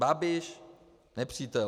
Babiš - nepřítel.